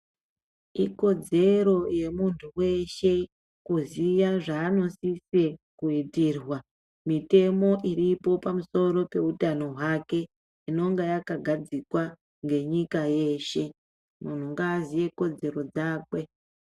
Ikodzero yemuntu weshe kuziya zvanosise kuitirwa, mitemo iripo pamusoro pehutano hwake inonga yakagadzikwa ngenyika yeshe. Muntu ngaziye kodzero dzakwe.